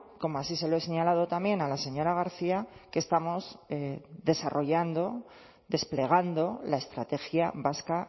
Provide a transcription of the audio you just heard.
como así se lo he señalado también a la señora garcía que estamos desarrollando desplegando la estrategia vasca